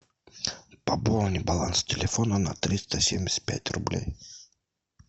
пополни баланс телефона на триста семьдесят пять рублей